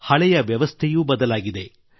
ಹಳೆಯ ವ್ಯವಸ್ಥೆಯೂ ಬದಲಾಗಿದೆ